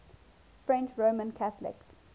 french roman catholics